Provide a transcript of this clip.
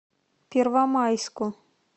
первомайску